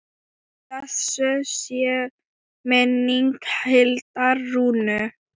Blessuð sé minning Hildar Rúnu.